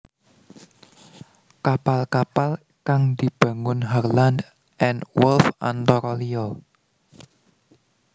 Kapal kapal kang dibangun Harland and Wolff antara liya